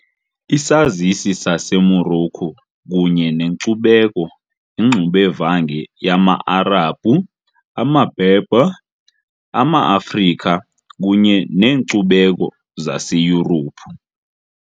Isazisi saseMorocco kunye nenkcubeko yingxubevange yama -Arabhu, amaBerber, amaAfrika kunye neenkcubeko zaseYurophu .